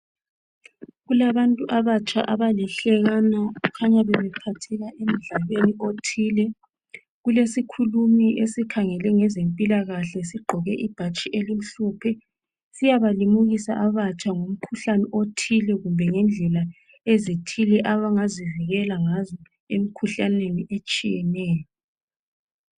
Kulabantu abatsha abalihlekana kukhanya bebephatheka emdlalweni othile ,kulesikhulumi esikhangele ngezempilakahle sigqoke ibhatshi elimhlophe siyabalimukisa abatsha ngomkhuhlane othile kumbe ngendlela ezithile abangazivikela ngazo emikhuhlaneni etshiyeneyo